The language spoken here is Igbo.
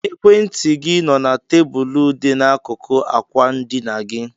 Ekwentị gị nọ na tebụlụ dị n'akụkụ ákwà ndịna gị.